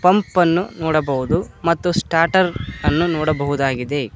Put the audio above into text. ಸಂಪನ್ನು ನೋಡಬಹುದು ಮತ್ತು ಸ್ಟಾರ್ಟರ್ ಅನ್ನು ನೋಡಬಹುದಾಗಿದೆ.